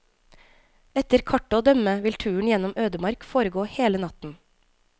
Etter kartet å dømme vil turen gjennom ødemark foregå hele natten.